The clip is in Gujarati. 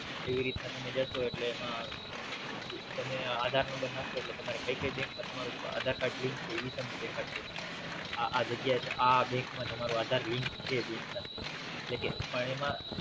એવી રીતના તમે જાસો એટલે એમાં Aadhar number નાખશો એટલે તમારે કય કય Bank માં તમારું Aadhar link છે ઈ તમને દેખાડશે આ આ જગ્યાએ આ આ Bank માં તમારું Aadhar link છે Bank સાથે જે કે